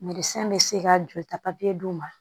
Nɛgɛsɛn bɛ se ka joli ta papiye d'u ma